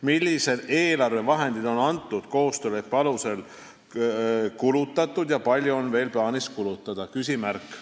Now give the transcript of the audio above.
Millised eelarvevahendid on antud koostööleppe alusel kulutatud ja palju on veel plaanis kulutada?